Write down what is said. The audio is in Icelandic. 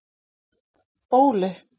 Bóli